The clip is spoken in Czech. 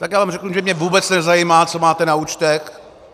Tak já vám řeknu, že mě vůbec nezajímá, co máte na účtech.